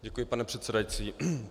Děkuji, pane předsedající.